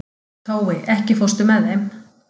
Tói, ekki fórstu með þeim?